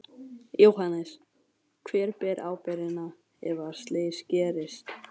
Jóhannes: Hver ber ábyrgðina ef að slys gerist?